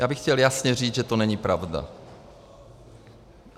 Já bych chtěl jasně říct, že to není pravda.